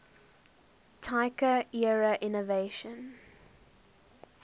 taika era innovation